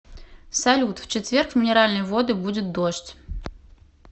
салют в четверг в минеральные воды будет дождь